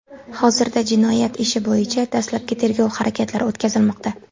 Hozirda jinoyat ishi bo‘yicha dastlabki tergov harakatlari o‘tkazilmoqda.